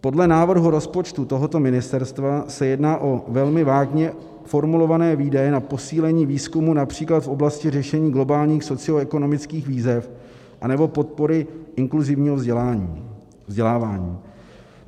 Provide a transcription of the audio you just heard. Podle návrhu rozpočtu tohoto ministerstva se jedná o velmi vágně formulované výdaje na posílení výzkumu například v oblasti řešení globálních socioekonomických výzev anebo podpory inkluzivního vzdělávání.